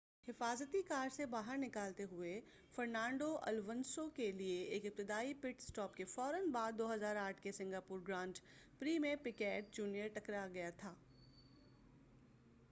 حفاظتی کار سے باہر نکالتے ہوئے فرنانڈو الونسو کیلئے ایک ابتدائی پٹ اسٹاپ کے فورا بعد 2008 کے سنگاپور گرانڈ پری میں پیکیٹ جونیئر ٹکرا گیا تھا